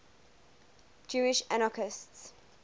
jewish anarchists